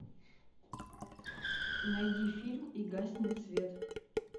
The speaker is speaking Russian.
найди фильм и гаснет свет